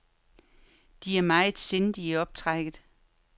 De er meget sindige i optrækket.